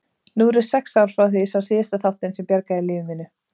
Nú eru sex ár frá því ég sá síðast þáttinn sem bjargaði lífi mínu.